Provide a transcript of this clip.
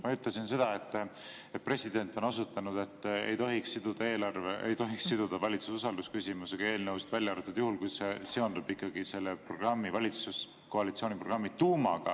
Ma ütlesin seda, et president on osutanud, et ei tohiks eelnõusid siduda valitsuse usalduse küsimusega, välja arvatud juhul, kui see seondub valitsuskoalitsiooni programmi tuumaga.